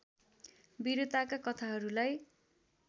वीरताका कथाहरूलाई